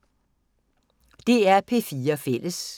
DR P4 Fælles